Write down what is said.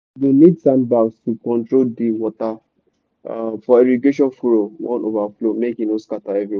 you go need sandbags to control di water um for irrigation furrow wan overflow make e no scatter everywhere.